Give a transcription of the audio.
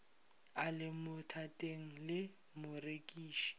a le bothateng le morekiši